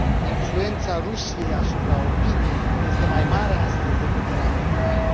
Influența Rusiei asupra opiniei este mai mare astăzi decât era acum un an.